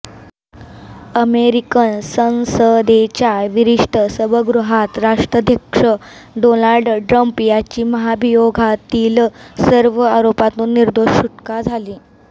American संसदेच्या वरिष्ठ सभागृहात राष्ट्राध्यक्ष डोनाल्ड ट्रम्प यांची महाभियोगातील सर्व आरोपांतून निर्दोष सुटका झाली